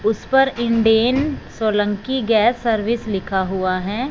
उस पर Indane Solanki gas service लिखा हुआ है।